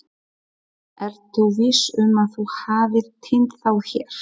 Ertu viss um að þú hafir týnt þá hér?